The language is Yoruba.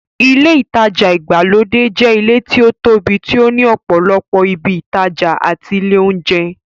Ilé ìtajà ìgbàlódé jẹ́ ilé tí ó tóbi tí ó ní ọ̀pọ̀lọpọ̀ ibi ìtajà àti ilé óúnjẹ.